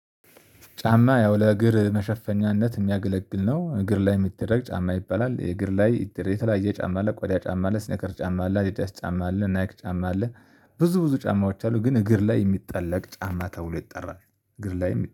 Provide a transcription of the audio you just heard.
ጫማ ያው ለእግር መሸፈኛነት የሚያገለግል ነው። እግር ላይ የምትደረግ ጫማ ይበላል የእግር ላይ የተለያየ ጫማ ላይ ቆዳ ጫማ አለ ሲነከር ጫማ አለ አዲዳስ ጫማ አለ ናይክ ጫማ አለ። ብዙ ብዙ ጫማዎች አሉ ግን እግር ላይ የሚጠለቅ ጫማ ተብሎ ይጠራል። እግር ላይ